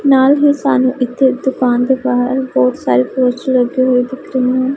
ਨਾਲ ਹੀ ਸਾਨੂੰ ਇੱਥੇ ਦੁਕਾਨ ਦੇ ਬਾਹਰ ਬਹੁਤ ਸਾਰੇ ਪੋਸਟਰ ਲੱਗੇ ਹੋਏ ਦਿੱਖ ਰਹੇ ਹਨ।